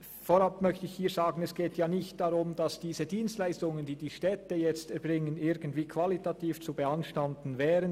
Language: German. Hier geht es nicht darum, dass diese Dienstleistungen, welche heute die Städte erbringen, qualitativ irgendwie zu beanstanden wären.